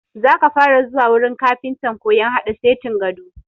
Za ka fara zuwa wurin kafintan koyan haɗa setin gado!